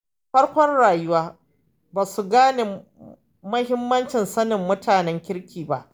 A farkon rayuwa, ba su gane muhimmancin sanin mutanen kirki ba.